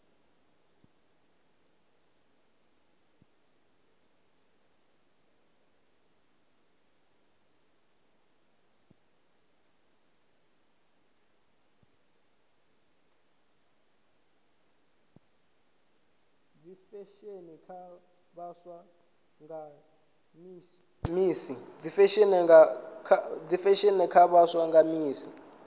dzisesheni kha vhaswa nga misi